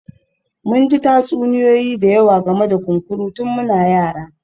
Mun ji tatsuniyoyi da yawa game da kunkuru tun muna yara